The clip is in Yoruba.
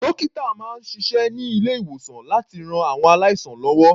Dókítà máa ń ṣiṣẹ́ ní ilé-ìwòsàn láti ran àwọn aláìsàn lọ́wọ́.